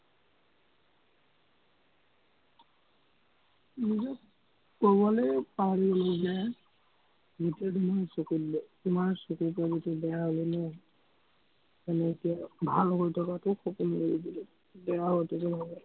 নিজক কবলে পাহৰি গলো যে, য়েতিয়া তোমাৰ চকুত তোমাৰ চকুকেইটা বেয়া হলে ন, এনেকে ভাল হৈ থকাতো সকলো এৰি দিলো, বেয়া হওঁতেতো নহব